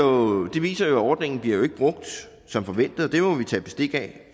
det viser jo at ordningen ikke bliver brugt som forventet og det må vi tage bestik af